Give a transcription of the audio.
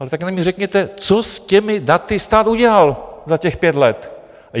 Ale taky mi řekněte, co s těmi daty stát udělal za těch pět let.